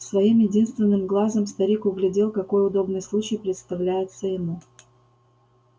своим единственным глазом старик углядел какой удобный случай представляется ему